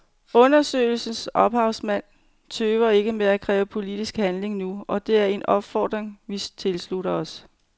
Undersøgelsens ophavsmænd tøver ikke med at kræve politisk handling nu, og det er en opfordring vi tilslutter os.